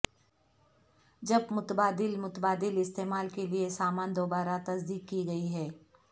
جب متبادل متبادل استعمال کے لئے سامان دوبارہ تصدیق کی گئی ہے